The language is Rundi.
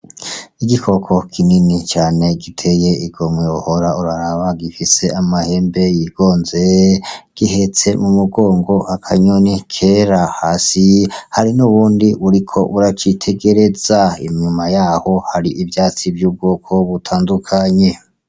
Igikoko kinini cane giteye igomwe wohora uraraba, gifise amahembe yigonze, gihetse mu mugongo akanyoni kera, hasi hari n'ubundi buriko buracitegereza. Inyuma yaho hari ivyatsi vy'ubwoko butandukanye.